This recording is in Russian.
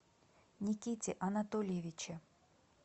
никите анатольевиче